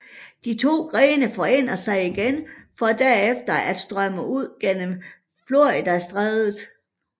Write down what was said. De to grene forener sig igen for derefter at strømme ud gennem Floridastrædet